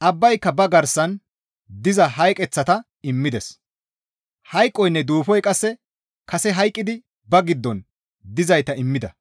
Abbayka ba garsan diza hayqeththata immides; hayqoynne Duufoy qasse kase hayqqidi ba giddon dizayta immida;